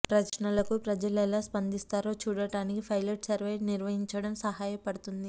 ప్రశ్నలకు ప్రజలు ఎలా స్పందిస్తారో చూడడానికి పైలెట్ సర్వే నిర్వహించడం సహాయపడుతుంది